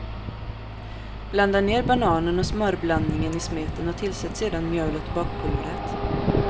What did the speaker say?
Blanda ner bananen och smörblandningen i smeten och tillsätt sedan mjölet och bakpulvret.